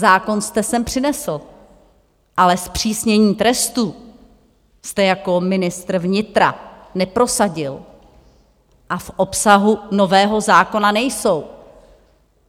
Zákon jste sem přinesl, ale zpřísnění trestů jste jako ministr vnitra neprosadil a v obsahu nového zákona nejsou.